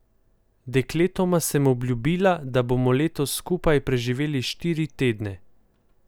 Dekletoma sem obljubila, da bomo letos skupaj preživeli štiri tedne.